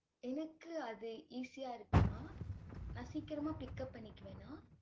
எனக்கு அது easy யா இருக்குமா? நான் சீக்கிரமா pickup பண்ணிக்குவேனா?